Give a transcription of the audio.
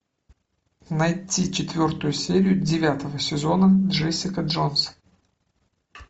найти четвертую серию девятого сезона джессика джонс